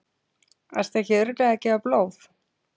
Ertu ekki örugglega að gefa blóð?